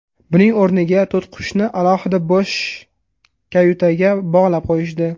Buning o‘rniga to‘tiqushni alohida bo‘sh kayutaga bog‘lab qo‘yishdi.